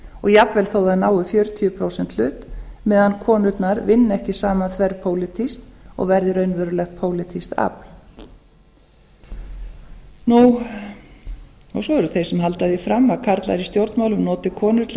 og jafnvel þó að þær nái fjörutíu prósenta hlut meðan konurnar vinni ekki saman þverpólitískt og verði raunverulegt pólitískt afl svo eru þeir sem halda því fram að karlar í stjórnmálum noti konur til að